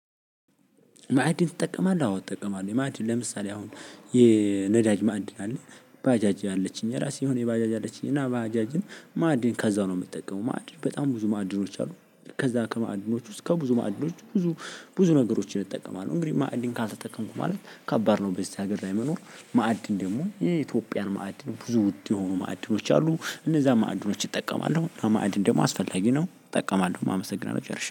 ማዕድን ትጠቀማለህ? አዎ እጠቀማለሁ፤ ማዕድን ለምሳሌ አሁን የነዳጅ ማዕድን አለ፣ ባጃጅ አለችኝ የራሴ የሆነ ባጃጅ አለችኝ እና ባጃጅን ማዕድን ከዛው ነው የምጠቀመው ማዕድን በጣም ብዙ ማዕድኖች አሉ። ከዛ ከማዕድኖች ውስጥ ከብዙ ማዕድኖች ብዙ ብዙ ነገሮችን እጠቀማለሁ፤ እንግዲህ ማዕድን ካልተጠቀምኩ ማለት ከባድ ነው በዚህ ሀገር ላይ መኖር፣ ማዕድን ደግሞ የኢትዮጵያን ማዕድን ብዙ ውድ የሆኑ ማዕድኖች አሉ፤ እነዛ ማዕድኖች ይጠቀማለሁ አማእድን ደግሞ አስፈላጊ ነው እጠቀማለሁ አመሰግናለሁ።